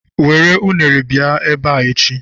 Were unere bịa ebe a echi.